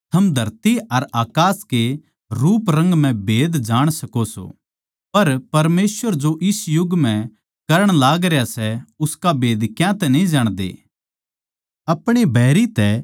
हे बेअक्लो थम धरती अर अकास कै रूपरंग म्ह भेद जाण सको सो पर परमेसवर जो इस युग म्ह करण लागरया सै उसका भेद क्यातै न्ही जाणदे